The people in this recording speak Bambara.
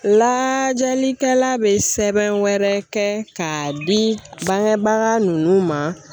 Lajalikɛla be sɛbɛn wɛrɛ kɛ ka di bangebaga ninnu ma